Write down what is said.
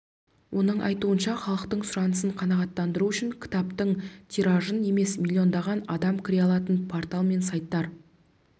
оның айтуынша халықтың сұранысын қанағаттандыру үшін кітаптың тиражын емес миллиондаған адам кіре алатын портал мен сайттар